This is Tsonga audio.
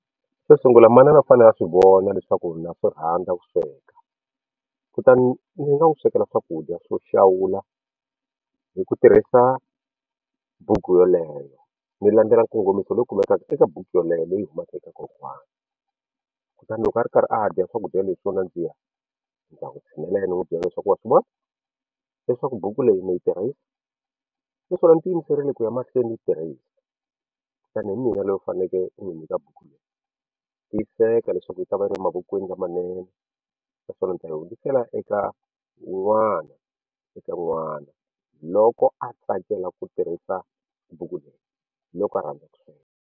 Xo sungula manana u fanele a swi vona leswaku na swi rhandza ku sweka kutani ndzi nga n'wu swekela swakudya swo xawula hi ku tirhisa buku yeleyo ni landzela nkongomiso lowu kumekaka eka buku yoleyo leyi humaka eka kokwana kutani loko a ri karhi a dya swakudya leswi swo nandziha ni ta ya n'wi tshinelela ni n'wi byela leswaku wa swi vona leswaku buku leyi na yi tirhisa naswona ndzi ti yimiserile ku ya mahlweni ni yi tirhisa ene hi mina loyi u fanekele u ni nyika buku leyi tiyiseka leswaku yi ta va yi ri mavokweni lamanene naswona ni ta yi hundzisela eka wun'wana eka n'wana loko a tsakela ku tirhisa buku leyi loko a rhandza ku sweka.